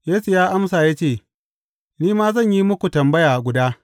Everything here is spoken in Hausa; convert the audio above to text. Yesu ya amsa ya ce, Ni ma zan yi muku tambaya guda.